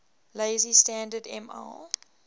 lazy standard ml